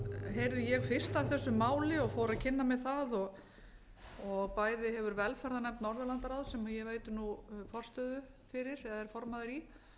heyrði ég fyrst af þessu máli og fór að kynna mér það bæði hefur velferðarnefnd norðurlandaráðs sem ég veiti nú forstöðu fyrir eða er formaður í